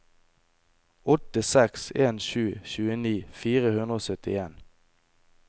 åtte seks en sju tjueni fire hundre og syttien